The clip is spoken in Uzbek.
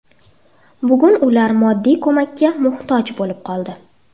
Bugan ular moddiy ko‘makka muhtoj bo‘lib qoldi.